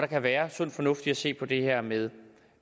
kan være sund fornuft i at se på det her med